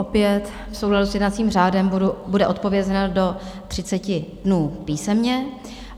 Opět v souladu s jednacím řádem bude odpovězeno do 30 dnů písemně.